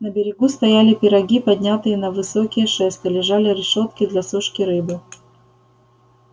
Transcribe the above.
на берегу стояли пироги поднятые на высокие шесты лежали решётки для сушки рыбы